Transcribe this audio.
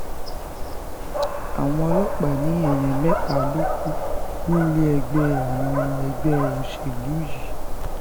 àwọn ọlọ́pàá ní èèyàn mẹ́ta ló kù nílé ẹgbẹ́ àwọn ẹgbẹ́ òṣèlú yìí